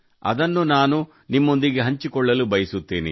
ಅದನ್ನು ನಾನು ನಿಮ್ಮೊಂದಿಗೆ ಹಂಚಿಕೊಳ್ಳಲು ಬಯಸುತ್ತೇನೆ